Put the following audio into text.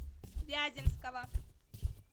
вяземского